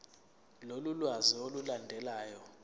lolu lwazi olulandelayo